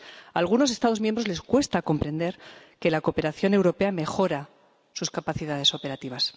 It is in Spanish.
A algunos Estados miembros les cuesta comprender que la cooperación europea mejora sus capacidades operativas.